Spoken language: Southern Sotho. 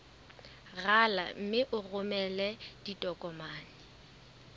rala mme o romele ditokomene